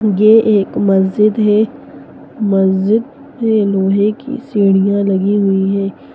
ये एक मस्जिद हैं मस्जिद पे लोहे की सीढ़ियां लगी हुई हैं।